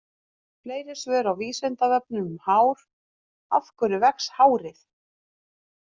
Fleiri svör á Vísindavefnum um hár: Af hverju vex hárið?